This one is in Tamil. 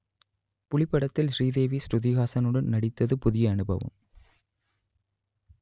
புலி படத்தில் ஸ்ரீதேவி சுருதிஹாசனுடன் நடித்தது புதிய அனுபவம்